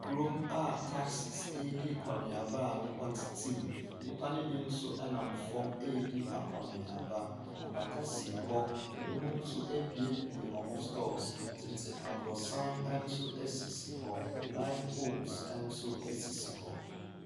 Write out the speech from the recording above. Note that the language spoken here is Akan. Kuro a taxes ɛredi akɔneaba a nnipa tete mu, nnipa ne bi nso nam fam ɛredi akɔneaba. Apata si hɔ, binom nso abuebue wɔn stores. Tete abrɔsan nso si hɔ, light poles nso sisi hɔ.